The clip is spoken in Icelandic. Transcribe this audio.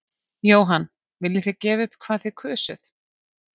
Jóhann: Viljið þið gefa upp hvað þið kusuð?